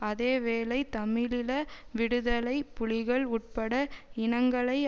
அதே வேளை தமிழீழ விடுதலை புலிகள் உட்பட இனங்களை